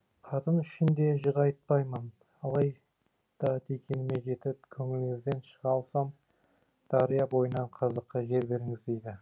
қатын үшін де жыр айтпаймын алайда дегеніме жетіп көңіліңізден шыға алсам дария бойынан қазаққа жер беріңіз дейді